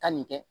Taa nin kɛ